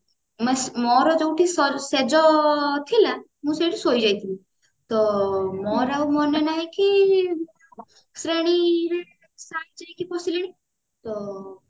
ମୋର ଯୋଉତି ଶେଯଥିଲା ମୁଁ ସେଇଠି ଶୋଇଯାଇଥିଲି ତ ମୋର ଆଉ ମନେ ନାହି କି ଶ୍ରେଣୀ ରେ sir ଯାଇକି ବସିଲେଣି ତ